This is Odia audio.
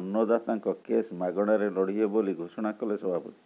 ଅନ୍ନଦାତାଙ୍କ କେସ୍ ମାଗଣାରେ ଲଢିବେ ବୋଲି ଘୋଷଣା କଲେ ସଭାପତି